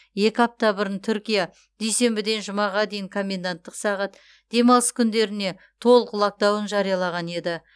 екі апта бұрын түркия дүйсенбіден жұмаға дейін коменданттық сағат демалыс күндеріне толық локдаун жариялаған еді